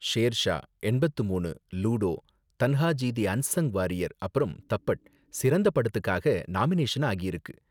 ஷேர்ஷா, எண்பத்து மூனு, Ludo, Tanhaji the unsung warrior அப்பறம் தப்பட் சிறந்த படத்துக்காக நாமினேஷன் ஆகியிருக்கு.